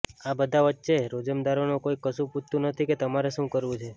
આ બધા વચ્ચે રોજમદારોનો કોઈ કશું પૂછતું નથી કે તમારે શું કરવું છે